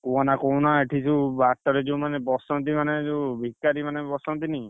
କୁହନା, କୁହନା, ଏଠି ଯୋଉ ବାଟରେ ଯୋଉ ମାନେ ବସନ୍ତି ମାନେ ଯୋଉ ଭିକାରି ମାନେ ବସନ୍ତିନି।